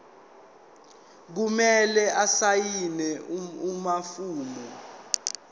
kumele asayine amafomu